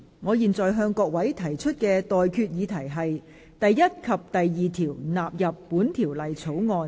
我現在向各位提出的待決議題是：第1及2條納入本條例草案。